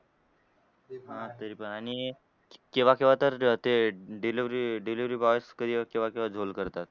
ते पण आणि केव्हा केव्हा तर ते delivery delivery boy च केव्हा केव्हा झोल करतात.